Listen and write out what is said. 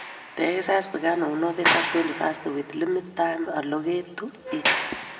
The exercise began on November twenty-first with limited time allocated to it.